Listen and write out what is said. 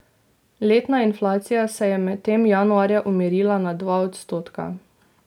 Letna inflacija se je medtem januarja umirila na dva odstotka.